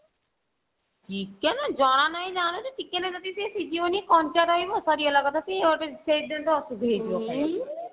chicken ଜଣା ନାହିଁ ଜାନୁଛୁ chicken ଯଦି ସେ ସିଝିବନି କଞ୍ଚା ରହିବ ସରିଗଲା କଥା ସିଏ ଗୋଟେ ସେଇ ଦିନ ଠୁ ଅସୁଧ ହେଇଯିବ ଖାଇବାକୁ